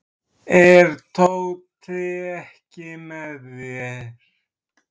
Er Tóti ekki með þér?